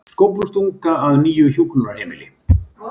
Skóflustunga að nýju hjúkrunarheimili